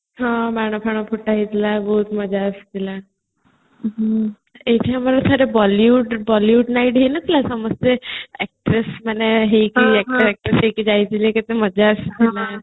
ହଁ ବାଣ ଫାଣ ଫୁଟା ହେଇଥିଲା ବହୁତ ମଜା ଆସିଥିଲା ଆଉ ଥରେ bollywood night ହେଇନଥିଲା ସମସ୍ତେ actress ମାନେ ହେଇକି attract କରିକି ଯାଇଥିଲେ କେତେ ମଜା ଆସିଥିଲା